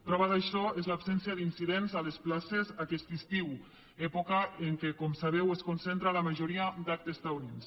prova d’això és l’absència d’incidents a les places aquest estiu època en què com sabeu es concentra la majoria d’actes taurins